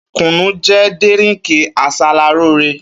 Kúnù jẹ dírińkì àsàràlòrẹ.